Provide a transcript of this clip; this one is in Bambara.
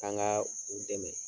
K'an ka u dɛmɛ.